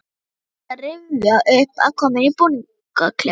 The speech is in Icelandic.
Dóra reyndi að rifja upp aðkomuna í búningsklefanum.